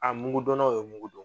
mugu dɔnnaw ye mugu dɔn.